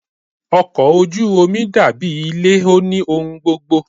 Ọkọ̀ ojú omi dàbí ilé, ó ní ohun gbogbo.